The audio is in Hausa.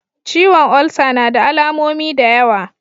Ciwon olsa nada alamomi da yawa.